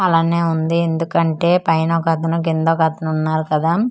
అలాగ్నే వుంది ఎందుకంటే పైనొకతను కిందొకతను వున్నారు కదా .